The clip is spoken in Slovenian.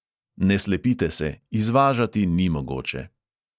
Ne slepite se, izvažati ni mogoče.